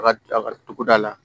A ka a ka togoda la